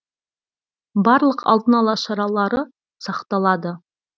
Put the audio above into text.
барлық алдын алу шаралары сақталады